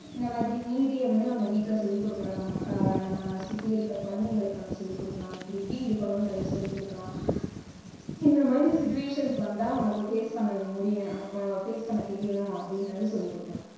இந்த மாதிரி நீதிய வந்து நம்ம வீட்ல சொல்லி கொடுக்கலாம். அஹ் நம்ம சுத்தி இருக்கிற குழந்தைகளுக்கு நாம சொல்லிக் கொடுக்கலாம். இப்படி இப்படி இருக்கணுன்றத சொல்லிக் கொடுக்கலாம். இந்த மாதிரி situation வந்தா உனக்கு face பண்ண முடியணும் உனக்கு face பண்ண தெரியணும் அப்படிங்கறத சொல்லிக் கொடுக்கலாம்.